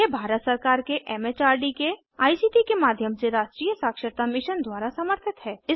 यह भारत सरकार के एमएचआरडी के आईसीटी के माध्यम से राष्ट्रीय साक्षरता मिशन द्वारा समर्थित है